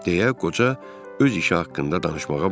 Deyə qoca öz işi haqqında danışmağa başladı.